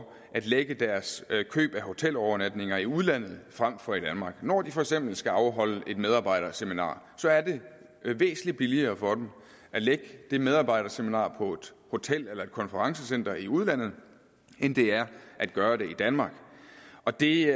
at lægge deres køb af hotelovernatninger i udlandet frem for i danmark når de for eksempel skal afholde et medarbejderseminar er det væsentlig billigere for dem at lægge det medarbejderseminar på et hotel eller et konferencecenter i udlandet end det er at gøre det i danmark og det